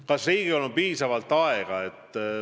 Kas Riigikogul on piisavalt aega?